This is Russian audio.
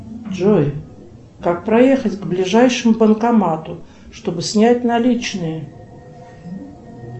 джой как проехать к ближайшему банкомату чтобы снять наличные